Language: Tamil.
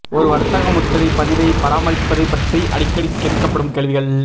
ஒரு வர்த்தக முத்திரை பதிவை பராமரிப்பது பற்றி அடிக்கடி கேட்கப்படும் கேள்விகள்